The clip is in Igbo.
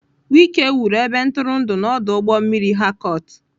Wike wuru ebe ntụrụndụ na ọdụ ụgbọ mmiri Harcourt.